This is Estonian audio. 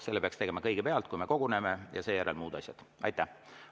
Selle peaks tegema kõigepealt, kui me koguneme, ja seejärel tuleksid muud asjad.